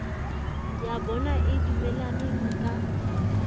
ya bona e dumelaneng ka